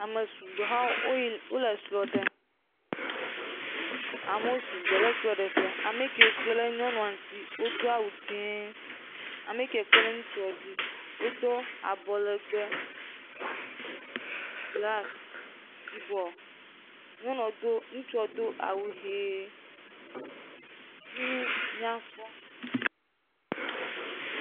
Ame sugbɔ yaa wò le srɔ̃ɖem. Amewo sugbɔ ɖe aɖe ƒea. Ame kewo kpe ɖe nyɔnua ŋuti , wòdoa awu dzɛ. Ame yike wò kpe ɖe ŋutsu ŋu do awu anɔ legbe blak yibɔ. Nyɔnua, ŋutsua tse do awu ɣie. Fimi nyakpɔ.